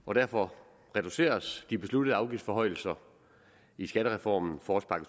og derfor reduceres de besluttede afgiftsforhøjelser i skattereformen forårspakke